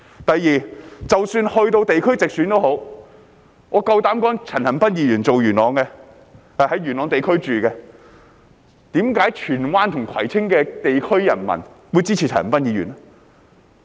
第二，即使在地區直選，我敢說一句，陳恒鑌議員居住在元朗，為何荃灣和葵青的地區人民會支持他呢？